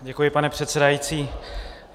Děkuji, pane předsedající.